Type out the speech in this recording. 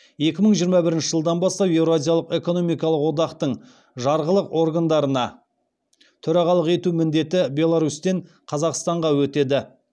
екі мың жиырма бірінші жылдан бастап еуразиялық экономикалық одақтың жарғылық органдарына төрағалық ету міндеті беларусьтен қазақстанға өтеді